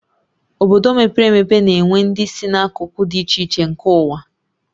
Obodo mepere emepe na-enwe ndị si n'akụkụ dị iche iche nke ụwa